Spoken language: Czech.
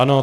Ano.